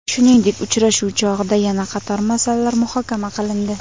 Shuningdek, uchrashuv chog‘ida yana qator masalalar muhokama qilindi.